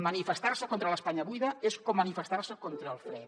manifestar se contra l’espanya buida és com manifestar se contra el fred